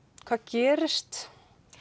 hvað gerist